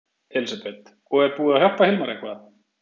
Elísabet: Og er búið að hjálpa Hilmari eitthvað?